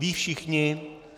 Vědí všichni?